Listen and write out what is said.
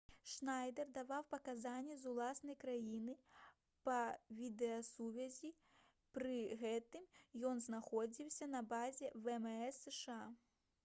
шнайдэр даваў паказанні з уласнай краіны па відэасувязі пры гэтым ён знаходзіўся на базе вмс сша